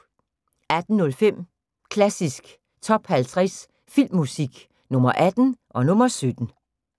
18:05: Klassisk Top 50 Filmmusik – Nr. 18 og nr. 17